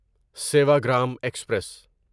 Sevagram express